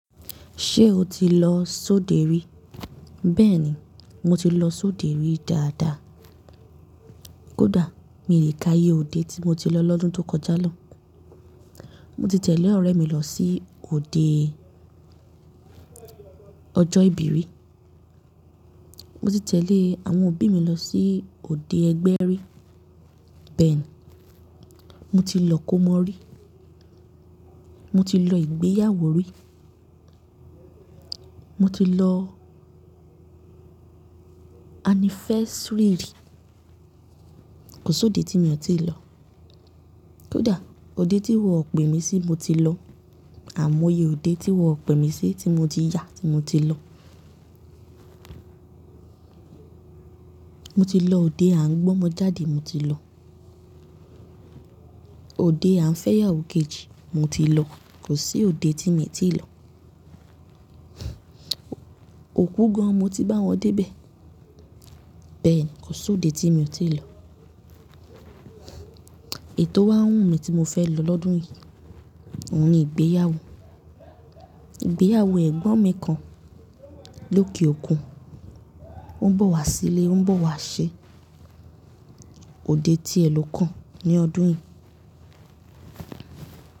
Ṣé o ti lọ sóde rí? Bẹ́ẹ̀ni, mo ti lọ sóde rí dáadáa. Kódà mi lè ka iye òde tí mo ti lọ lọ́dún tó kọjá lọ. Mo ti tẹ̀lé ọ̀rẹ́ mi lọ sí òde ọjọ́ ìbí rí. Mo ti tẹ̀lé àwọn òbí mi lọ sí òde ẹgbẹ́ rí. Bẹ́ẹ̀ni, mo ti lọ kómo rí. Mo ti lọ ìgbéyàwó rí. Mo ti lọ anniversary rí. Kò sóde tí mi o tiì lọ. Kódà òde tí wọ́n o pè mí sí mo ti lọ, àimọ́ iye òde tí wọ́n pè mí sí tí mo ti yà ni mo ti lọ. Mo ti lọ òde à ń gbọ́mọjáde mo ti lọ. Òde à ń fẹ́yàwó kejì mo ti lọ. Kò sí òde tí mo ti lọ. Òkú gan-an mo ti bá wọn dé bẹ̀. Bẹ́ẹ̀ni, kò sóde tí mo ti lọ. Èyí tò wá wù mí tí mo fẹ́ lọ lọ́dún yìí. Ohun ni ìgbéyàwó. Ìgbéyàwó ẹ̀gbọ́n mi kan lókè òkun. Ó ń bọ̀ wá sílé, ó ń bọ̀ wá ṣe òde tí ẹ lo kàn ní ọdún yìí.